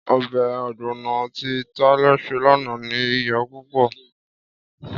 Ọbẹ̀ ọ̀gbọ̀nọ̀ tí Tálẹ́ ṣe lánàá ní iyò púpò.